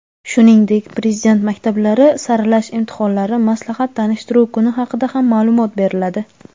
shuningdek Prezident maktablari saralash imtihonlari maslahat-tanishtiruv kuni haqida ham ma’lumot beriladi.